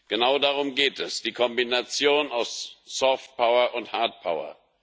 Genau darum geht es die Kombination aus Softpower und Hardpower.